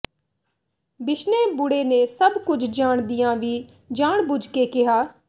ਬਿਸ਼ਨੇ ਬੁੜੇ ਨੇ ਸਭ ਕੁਝ ਜਾਣਦਿਆਂ ਵੀ ਜਾਣਬੁੱਝ ਕੇ ਕਿਹਾ